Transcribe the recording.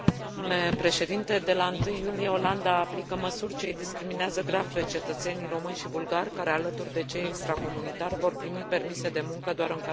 De la 1 iulie, Olanda aplică măsuri ce i discriminează grav pe cetățenii români și bulgari, care alături de cei extracomunitari, vor primi permise de muncă doar în cazuri excepționale.